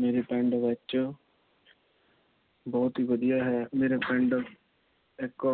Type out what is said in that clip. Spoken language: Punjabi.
ਮੇਰੇ ਪਿੰਡ ਵਿੱਚ ਬਹੁਤ ਈ ਵਧੀਆ ਹੈ। ਮੇਰੇ ਪਿੰਡ ਇੱਕ